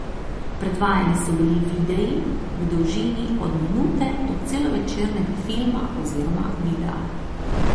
Predvajani so bili videi v dolžini od minute do celovečernega filma oziroma videa.